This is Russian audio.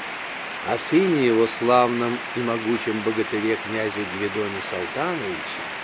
о сыне его славном и могучем богатыре князе гвидоне салтановиче